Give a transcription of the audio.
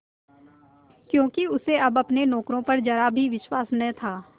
क्योंकि उसे अब अपने नौकरों पर जरा भी विश्वास न था